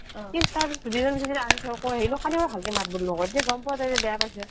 কিন্তু তাৰ পিছ্ত দুদিন মান ধৰি আজি ধৰ কৈ আহিলো কালি আৰু ভালকে মাত বোল নকৰে সেই গম পোৱা যায় যে বেয়া পাইছে